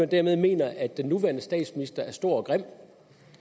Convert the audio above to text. dermed mener at den nuværende statsminister er stor og grim